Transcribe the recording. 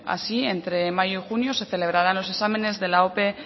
así entre mayo y junio se celebrarán los exámenes de la ope